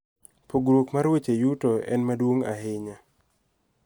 Pogruok mar weche yuto en maduong' ahinya.